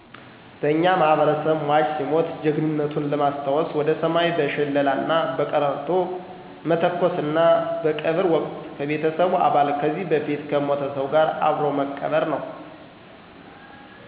በእኛ ማህበረሰብ ሟች ሲሞት ጀግንነቱን ለማሰታወሰ ወደ ሰማይ በሸለላና በቀረርቶ መተኮሰና በቀብር ወቅት ከቤተሰቡ አባል ከዚህ በፊት ከሞተ ሰው ጋር አብሮ መቅበር ነው።